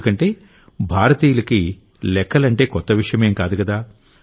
ఎందుకంటే భారతీయులకి లెక్కలంటే కొత్త విషయమేం కాదుగా